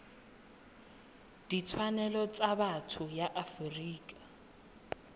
ditshwanelo tsa botho ya afrika